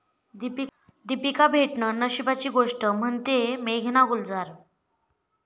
दीपिका भेटणं नशिबाची गोष्ट, म्हणतेय मेघना गुलजार